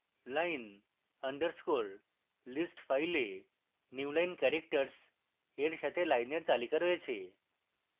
line underscore list file newline characters এর সাথে লাইনের তালিকা রয়েছে